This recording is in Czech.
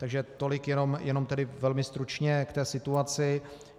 Takže tolik tedy jenom velmi stručně k té situaci.